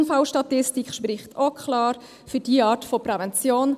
Die Unfallstatistik spricht auch klar für diese Art von Prävention.